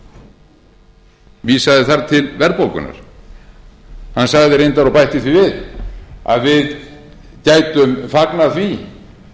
vandanum vísaði þar til verðbólgunnar hann sagði reyndar og bætti því við að við gætum fagnað því